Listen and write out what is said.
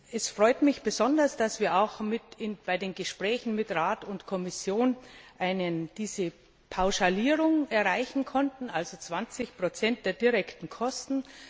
Es freut mich besonders, dass wir auch bei den Gesprächen mit Rat und Kommission eine Pauschalierung erreichen konnten, also 20 Prozent der direkten Kosten.